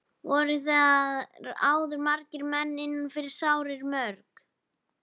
Voru þar áður margir menn inni fyrir sárir mjög.